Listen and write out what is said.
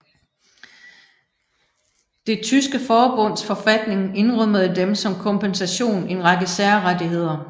Det tyske forbunds forfatning indrømmede dem som kompensation en række særrettigheder